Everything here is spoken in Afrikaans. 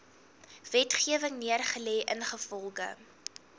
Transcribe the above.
wetgewing neergelê ingevolge